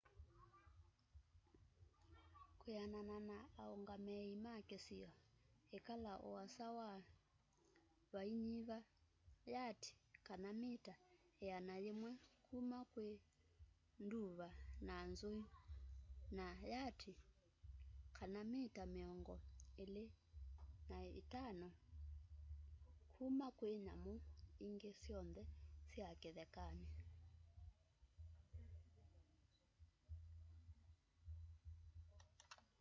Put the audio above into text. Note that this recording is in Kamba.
kwĩanana na aũngamĩi ma kĩsio ĩkala uasa wa vainyiva yati/mita ĩana yĩmwe kuma kwĩ nduva na nzũi na yati/mita mĩongo ĩlĩ na itano kuma kwĩ nyamu ingĩ syonthe sya kĩthekanĩ!